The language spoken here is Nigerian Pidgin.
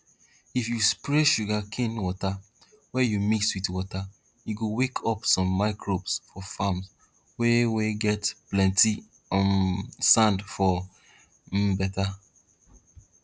if you spray sugar cane water wey you mix with water e go wake up some microbes for farms wey wey get plenty um sand for um better